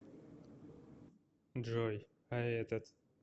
джой а этот